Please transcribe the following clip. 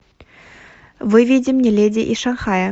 выведи мне леди из шанхая